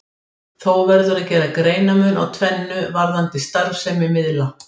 Þó verður að gera greinarmun á tvennu varðandi starfsemi miðla.